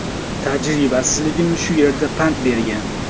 Tajribasizligim shu yerda pand bergan.